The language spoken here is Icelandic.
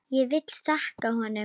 Ég vil þakka honum.